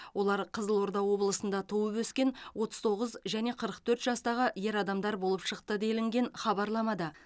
олар қызылорда облысында туып өскен отыз тоғыз және қырық төрт жастағы ер адамдар болып шықты делінген хабарламада